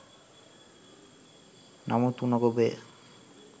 නමුත් උණ ගොබය